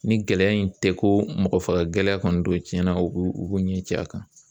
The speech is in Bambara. Ni gɛlɛya in tɛ ko mɔgɔ faga gɛlɛya kɔni don tiɲɛna u b'u u b'u ɲɛ ci a kan